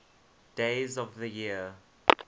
days of the year